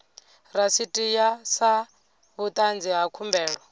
rasiti sa vhuṱanzi ha khumbelo